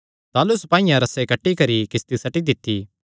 ताह़लू सपाईयां रस्से कटी करी किस्ती सट्टी दित्ती